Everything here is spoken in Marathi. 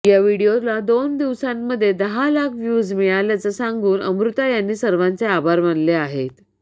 या व्हीडिओला दोन दिवसांमध्ये दहा लाख व्ह्यूज मिळाल्याचं सांगत अमृता यांनी सर्वांचे आभार मानले आहेत